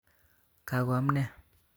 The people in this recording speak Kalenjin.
Kakoam ne